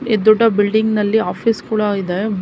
ಈ ದೊಡ್ಡ ಬಿಲ್ಡಿಂಗ್ ನಲ್ಲಿ ಆಫೀಸ್ ಕೂಡ ಇದೆ ಭೂ --